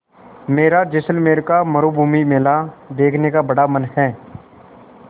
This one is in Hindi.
मेरा जैसलमेर का मरूभूमि मेला देखने का बड़ा मन है